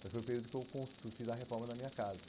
Mas foi o período que eu constru eu fiz a reforma da minha casa.